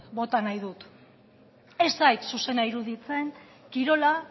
bota nahi dut ez zait zuzena iruditzen kirola